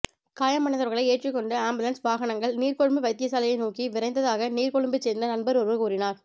காயமடைந்தவர்களை ஏற்றிக் கொண்டு ஆம்புலன்ஸ் வாகனங்கள் நீர்கொழும்பு வைத்தியசாலையை நோக்கி விரைந்ததாக நீர்கொழும்பைச் சேர்ந்த நண்பர் ஒருவர் கூறினார்